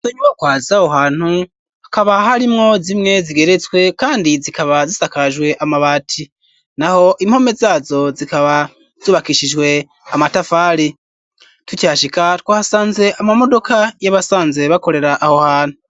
Izonyubakwa zaho hantu ,hakaba harimwo zimwe zigeretswe ,kandi zikaba zisakajwe amabati ,naho impome zazo zikaba zubakishijwe amatafali, tukihashika, twahasanze amamodoka y'abasanzwe bakorera aho hantu.